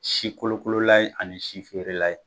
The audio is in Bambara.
Sikolokolola ye ani si feerela ye